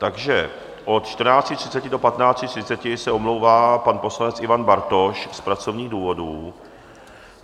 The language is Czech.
Takže od 14.30 do 15.30 se omlouvá pan poslanec Ivan Bartoš z pracovních důvodů.